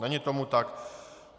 Není tomu tak.